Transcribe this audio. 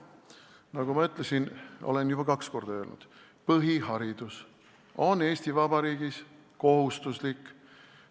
Nagu ma ütlesin – olen seda juba kaks korda öelnud –, põhiharidus on Eesti Vabariigis kohustuslik.